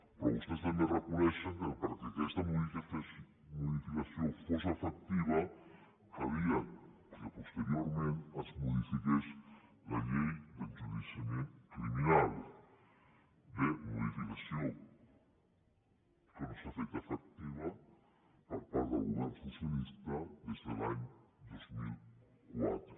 però vostès també reconeixen que perquè aquesta modificació fos efectiva calia que posteriorment es modifiqués la llei d’enjudiciament criminal bé modificació que no s’ha fet efectiva per part del govern socialista des de l’any dos mil quatre